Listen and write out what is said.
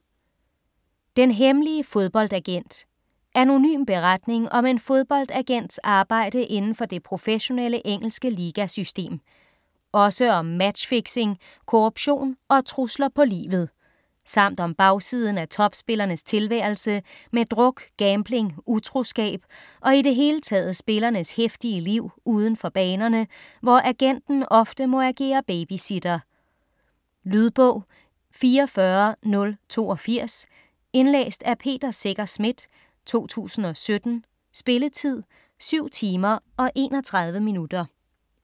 Den hemmelige fodboldagent Anonym beretning om en fodboldagents arbejde indenfor det professionelle engelske ligasystem. Også om matchfixing, korruption og trusler på livet. Samt om bagsiden af topspillernes tilværelse med druk, gambling, utroskab og i det hele taget spillernes heftige liv udenfor banerne, hvor agenten ofte må agere babysitter. Lydbog 44082 Indlæst af Peter Secher Schmidt, 2017. Spilletid: 7 timer, 31 minutter.